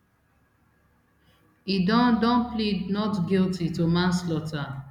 e don don plead not guilty to manslaughter